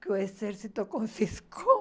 que o exército confiscou